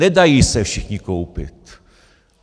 Nedají se všichni koupit.